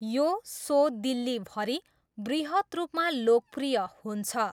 यो सो दिल्लीभरि बृहत् रूपमा लोकप्रिय हुन्छ।